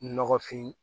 Nɔgɔfin